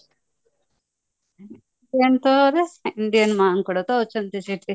Indian ମାଙ୍କଡ ଅଛନ୍ତି ସେଠି